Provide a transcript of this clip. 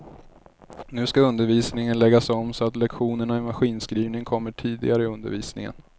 Nu ska undervisningen läggas om så att lektionerna i maskinskrivning kommer tidigare i undervisningen.